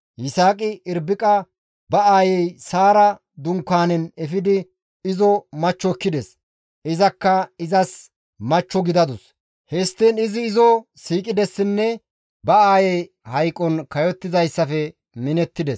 Yisaaqi Irbiqa ba aayey Saara dunkaanen efidi izo machcho ekkides; izakka izas machcho gidadus; histtiin izi izo siiqidessinne ba aayey hayqon kayottizayssafe minettides.